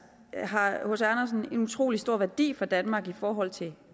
har hc andersen selvfølgelig en utrolig stor værdi for danmark i forhold til